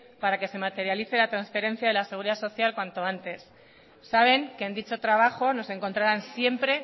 para que se materialice la transferencia de la seguridad social cuanto antes saben que en dicho trabajo nos encontrarán siempre